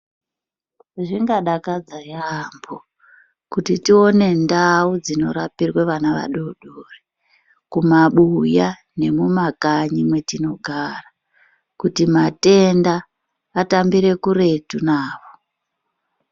Zvingadakadza yaampo kuti tione ndau dzinorapirwe vana vadodori kumabuya nemumakanyi mwetinogara kuti matenda atambire kuretu navo.